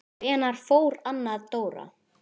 Hvenær fór Anna Dóra?